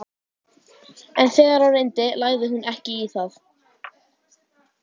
En þegar á reyndi lagði hún ekki í það.